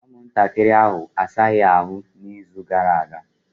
Ụmụntakịrị ahụ asaghị ahụ n'izu gara aga.